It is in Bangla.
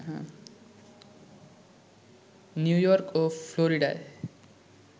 নিউ ইয়র্ক ও ফ্লোরিডায়